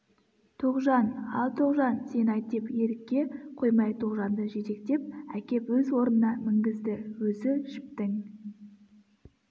тоғжан ал тоғжан сен айт деп ерікке қоймай тоғжанды жетектеп әкеп өз орнына мінгізді өзі жіптің